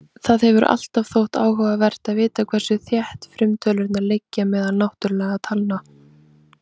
Það hefur alltaf þótt áhugavert að vita hversu þétt frumtölurnar liggja meðal náttúrlegra talna.